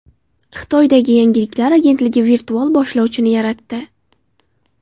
Xitoydagi yangiliklar agentligi virtual boshlovchini yaratdi.